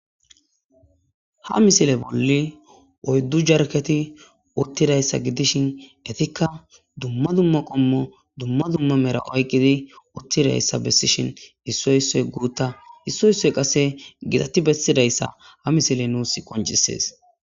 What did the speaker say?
Ha misile bolli oyddu jarketi uttidayssa gidishin etikka dumma dumma qommo dumma dumma mera oyqqidi uttidayssa bessishin hissoy issoy guutta hissoy issoy qase gitatti bessidayssa ha misile nuus qoncisees.